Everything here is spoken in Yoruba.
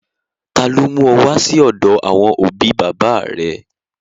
Ta ló mú ọ wá sí ọ̀dọ àwọn òbí bàbá à rẹ?